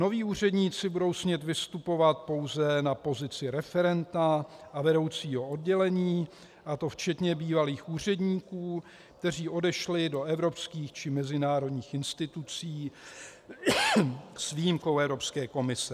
Noví úředníci budou smět vystupovat pouze na pozici referenta a vedoucího oddělení, a to včetně bývalých úředníků, kteří odešli do evropských či mezinárodních institucí, s výjimkou Evropské komise.